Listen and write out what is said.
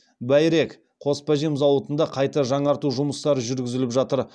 тағы байрек қоспажем зауытында қайта жаңарту жұмыстары жүргізіліп жатыр